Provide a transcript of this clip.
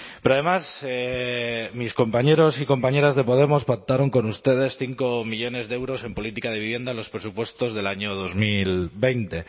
pero además mis compañeros y compañeras de podemos pactaron con ustedes cinco millónes de euros en política de vivienda en los presupuestos del año dos mil veinte